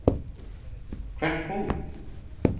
Hvert fór hún?